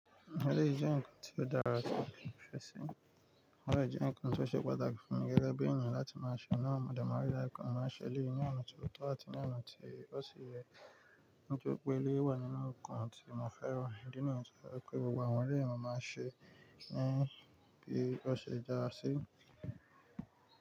Eleyi jẹ́ ǹkan tó dára tó ìfẹsẹ̀. O de jẹ́ ǹkan tó ṣe pàtàkì fún mi gẹ́gẹ́ bí ènìyàn láti máa ṣe. Náà mọ̀, de ma ri daju pe mo máa ń ṣẹ elẹ̀yìí ní ọ̀nà ti ó tọ́ àti ní ọ̀nà tí ó sì yẹ. Nítorí pé eleyi wà nínú ǹkan tí mo fẹ́ràn idi niyen to je wipe, gbogbo àwọn eleyi ma máa ń ṣe ẹ́ bí ó ṣe dára sí.